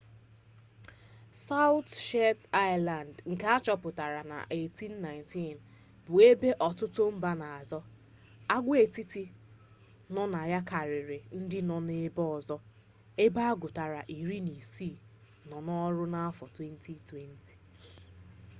sawụt shetland aịlands nke a chọpụtara na 1819 bụ ebe ọtụtụ mba na-azọ agwaetiti nọ na ya karịrị ndị nọ ebe ọzọ ebe agụtara iri na isii nọ n'ọrụ n'afọ 2020